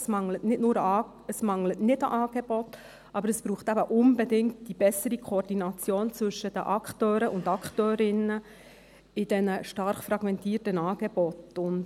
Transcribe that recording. Es mangelt nicht an Angeboten, aber es braucht eben unbedingt die bessere Koordination zwischen den Akteuren und Akteurinnen in diesen stark fragmentierten Angeboten.